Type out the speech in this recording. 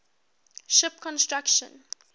ship construction